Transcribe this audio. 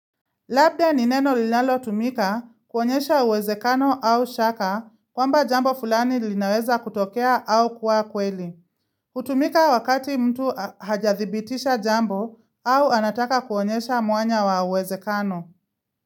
Labda ni neno linalotumika kuonyesha uwezekano au shaka kwamba jambo fulani linaweza kutokea au kuwa kweli. Hutumika wakati mtu hajadhibitisha jambo au anataka kuonyesha mwanya wa uwezekano.